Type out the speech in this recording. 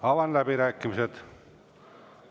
Avan läbirääkimised.